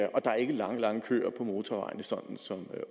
og der er ikke lange lange køer på motorvejene sådan som